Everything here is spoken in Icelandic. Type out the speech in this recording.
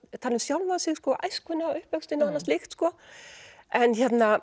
tala um sjálfan sig æskuna uppvöxtinn og annað slíkt en